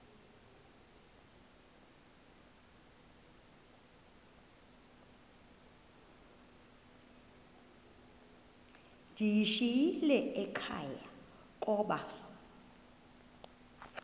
ndiyishiyile ekhaya koba